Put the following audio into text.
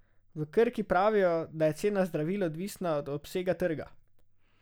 V Krki pravijo, da je cena zdravil odvisna od obsega trga!